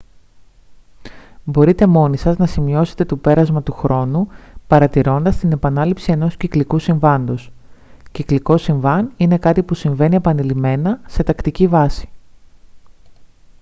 μπορείτε μόνοι σας να σημειώσετε το πέρασμα του χρόνου παρατηρώντας την επανάληψη ενός κυκλικού συμβάντος κυκλικό συμβάν είναι κάτι που συμβαίνει επανειλημμένα σε τακτική βάση